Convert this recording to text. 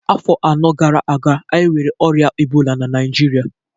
Afọ anọ gara aga, anyị nwere ọrịa ebola na Naịjirịa